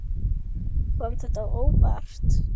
Kom þetta á óvart?